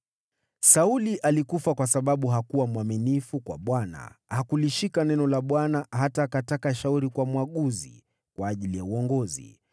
Sauli alikufa kwa sababu hakuwa mwaminifu kwa Bwana . Hakulishika neno la Bwana , hata akataka shauri kwa mwaguzi kwa ajili ya uongozi,